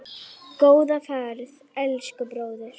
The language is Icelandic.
Góða ferð, elsku bróðir.